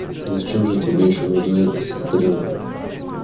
зачем же тебе ещё нужна эта стрелка